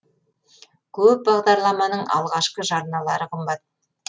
көп бағдарламаның алғашқы жарналары қымбат